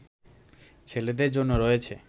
ছেলেদের জন্য রয়েছে